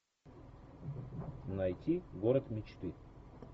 найти город мечты